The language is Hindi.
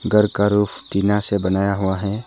घर का रूफ़ टीना से बनाया हुआ है।